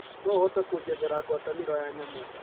no ũhote kunjethera ngwataniro ya nyamũ